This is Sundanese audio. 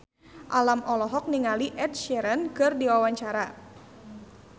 Alam olohok ningali Ed Sheeran keur diwawancara